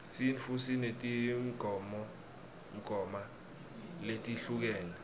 sintfu sinetimgoma letehlukene